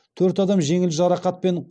төрт адам жеңіл жарақатпен